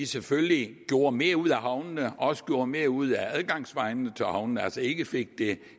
selvfølgelig gjorde mere ud af havnene og også gjorde mere ud af adgangsvejene til havnene altså ikke fik det